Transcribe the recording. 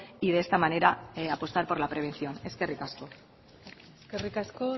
y de esta manera apostar por la prevención eskerrik asko eskerrik asko